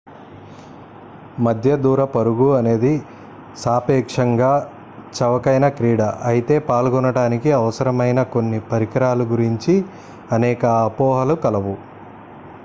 మధ్య దూర పరుగు అనేది సాపేక్షంగా చవకైన క్రీడ అయితే పాల్గొనడానికి అవసరమైన కొన్ని పరికరాల గురించి అనేక అపోహలు కలవు